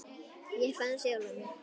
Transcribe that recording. Ég fann sjálfan mig.